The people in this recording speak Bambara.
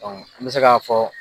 an bɛ se k'a fɔ